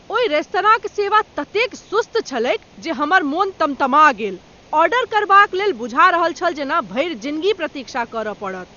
ओहि रेस्तराँक सेवा ततेक सुस्त छलैक जे हमर मन तमतमा गेल। ऑर्डर करबाक लेल बुझा रहल छल जेना भरि जिनगी प्रतीक्षा करय पड़त।